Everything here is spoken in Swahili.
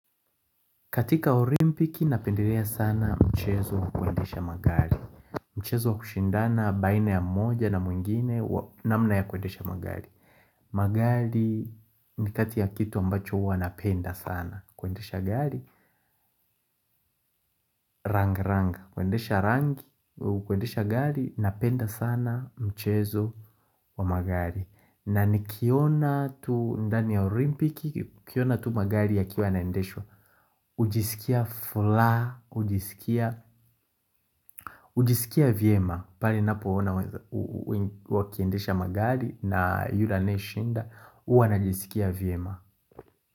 Katika orimpiki napenderea sana mchezo kuendesha magari Mchezo kushindana baina ya moja na mwingine namna ya kuendesha magali Magali ni kati ya kitu ambacho uwa napenda sana kuendesha gari rang rang, kuendesha rang, kuendesha gari napenda sana mchezo wa magari na ni kiona tu ndani ya orimpiki, kiona tu magari ya kiwa naendeshwa Ujisikia fula, ujisikia, ujisikia viema Palina poona uakiendesha magari na yule anae shinda Uwana jiskia viema.